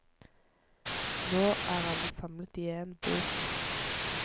Nå er alle samlet i én bok.